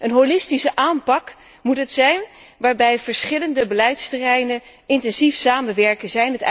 Een holistische aanpak moet het zijn waarbij verschillende beleidsterreinen intensief samenwerken.